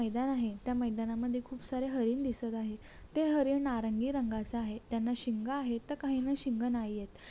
मैदान आहे त्या मैदान मध्ये खूप सारे हरीण आहे ते हरिण नारंगी रंगाचे दिसत आहे त्याना शिंग आहेत तर काहींना शिंग नाहीयेत.